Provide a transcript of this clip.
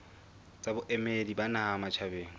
tsa boemedi ba naha matjhabeng